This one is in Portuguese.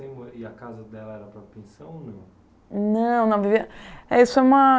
E a casa dela era na pensão ou não? Não, não vivia, isso é uma